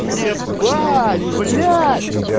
ебать бля